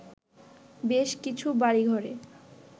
বেশ কিছু বাড়িঘরে